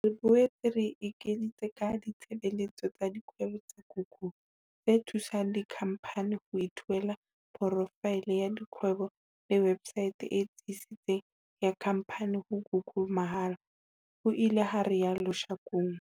"Re boetse re ekeditse ka ditshebeletso tsa kgwebo tsa Google, tse thusang dikhamphani ho ithuela porofaele ya kgwebo le websaete e tsitsitseng ya khamphani ho Google mahala," ho ile ha rialo Shakung.